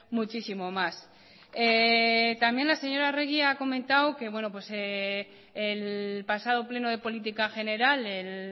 muchísimo más también la señora arregi ha comentado que el pasado pleno de política general el